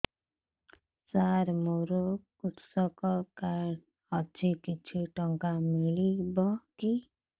ସାର ମୋର୍ କୃଷକ କାର୍ଡ ଅଛି କିଛି ଟଙ୍କା ମିଳିବ କି